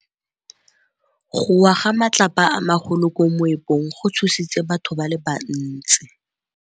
Go wa ga matlapa a magolo ko moepong go tshositse batho ba le bantsi.